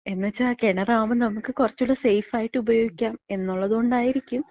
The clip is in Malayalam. എന്ന്ച്ചാ കെണറാവുമ്പം നമ്മക്ക് കൊറച്ചൂടി സേഫായിട്ടാ ഉപയോഗിക്കാം. എന്നുള്ളതോണ്ടായിരിക്കും.